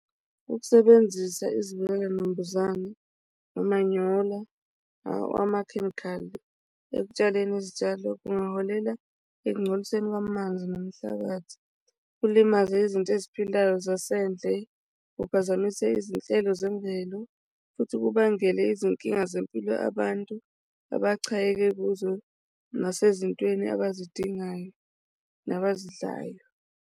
Ukusebenzisa izivikela nambuzane, umanyola, akhemikhali ekutshaleni izitshalo kungaholela ekugcoliseni kwamanzi nomhlabathi, kulimaze izinto eziphilayo zasendle, kuphazamise izinhlelo zemvelo futhi kubangele izinkinga zempilo abantu abaxakeke kuzo, nasezintweni abazidingayo nabazidlayo.